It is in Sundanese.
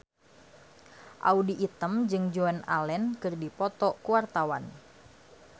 Audy Item jeung Joan Allen keur dipoto ku wartawan